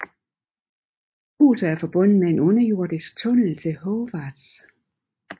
Huset er forbundet med en underjordisk tunnel til Hogwarts